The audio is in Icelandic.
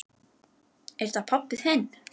Er þetta pabbi þinn?